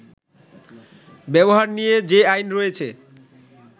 ব্যবহার নিয়ে যে আইন রয়েছে